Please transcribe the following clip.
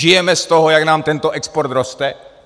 Žijeme z toho, jak nám tento export roste?